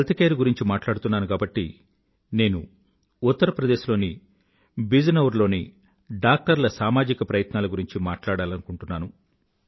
health care గురించి మాట్లాడుతున్నాను కాబట్టి నేను ఉత్తర్ ప్రదేశ్ లోని బిజ్ నౌర్ లోని డాక్టర్ల సామాజిక ప్రయత్నాల గురించి మాట్లాడాలనుకుంటున్నాను